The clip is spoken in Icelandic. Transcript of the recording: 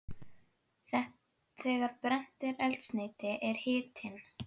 Þegar brennt er eldsneyti er hitinn